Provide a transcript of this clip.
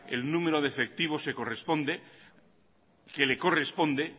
el número de efectivos que le corresponde